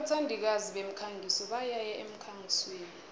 abathandikazi bemikhangiso bayaya emkhangisweni